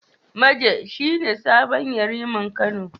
Maje shi ne sabon Yariman Kano.